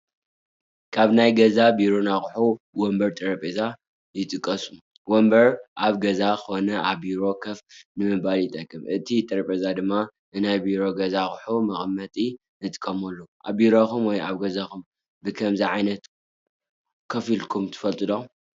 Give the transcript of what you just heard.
ካብ ናይ ገዛን ቢሮን ኣቑሑ ወንበርን ጠረጴዛን ይጥቐሱ፡፡ ወንበር ኣብ ገዛ ኮነ ኣብ ቢሮ ከፍ ንምባል ይጠቅም፡፡ እቲ ጠረጴዛ ድማ ንናይ ቢሮን ገዛን ኣቑሑት መቐመጢ ንጥቀመሉ፡፡ ኣብ ቢሮኹም ወይ ኣብ ገዛኹም ብኸምዚ ዓይነት ከፍኢልኩም ትፈልጡ?